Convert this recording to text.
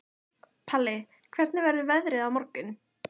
Palli, hvernig verður veðrið á morgun?